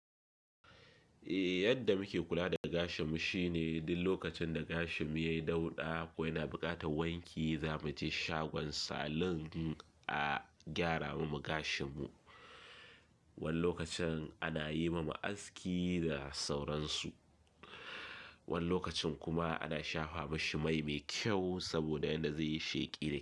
Eh, yadda muke kula da gashinmu shine duk lokacin da gashinmu yayi dauɗa ko yana buƙatar wanki, zamu je shagon salon a gyara mama gashinmu. Wani lokacin ana yi mama aski da sauransu. Wani lokacin kuma ana shafa mashi mai mai kyau saboda yadda zai yi sheƙi da.